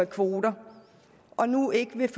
kvoter og nu ikke vil